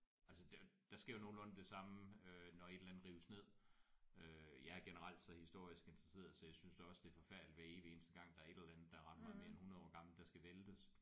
Altså der der sker jo nogenlunde det samme øh når et eller andet rives ned. Øh jeg er generelt så historisk interesseret så jeg synes da også det er forfærdeligt hver evig eneste gang der er et eller andet der er ret meget mere end 100 år gammelt der skal væltes